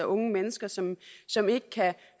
unge mennesker som som ikke kan